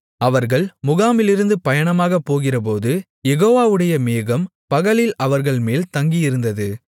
அவர்கள் முகாமிலிருந்து பயணமாக போகிறபோது யெகோவாவுடைய மேகம் பகலில் அவர்கள்மேல் தங்கியிருந்தது